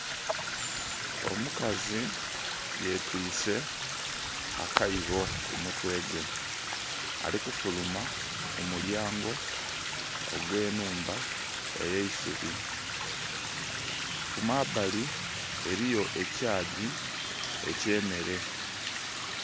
Omukazi yetwiise akaibo ku mutwe gwe. Ali kufuluma mu mulyango ogw'ennhumba ey'eisubi. Ku mabbali eliyo ekyagyi, eky'emmele.